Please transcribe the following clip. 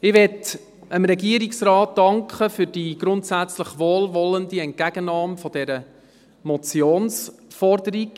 Ich möchte dem Regierungsrat danken für die grundsätzlich wohlwollende Entgegennahme dieser Motionsforderung.